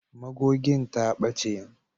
Magogin ta ɓace.